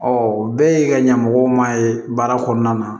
bɛɛ ye ka ɲɛmɔgɔ ma ye baara kɔnɔna na